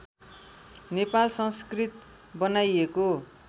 नेपाल संस्कृत बनाइएको